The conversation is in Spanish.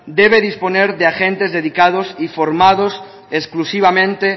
debe disponer de agentes dedicados y formados exclusivamente